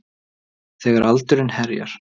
Þegar aldurinn herjar.